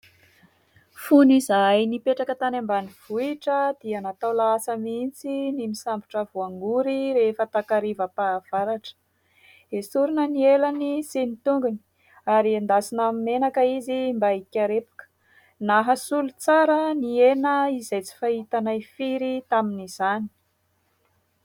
Fony izahay nipetraka tany ambanivohitra dia natao lahasa mihitsy ny misambotra voangory rehefa takarivam-pahavaratra. Esorina ny elany sy ny tongony ary endasina amin'ny menaka izy mba hikarepoka ; nahasolo tsara ny hena izay tsy fahitanay firy tamin'izany.